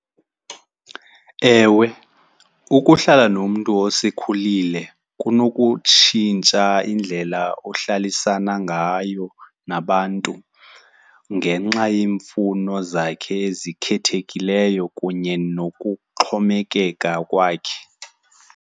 Ewe, ukuhlala nomntu osekhulile kunokutshintsha indlela ohlalisana ngayo nabantu ngenxa yeemfuno zakhe ezikhethekileyo kunye nokuxhomekeka kwakhe.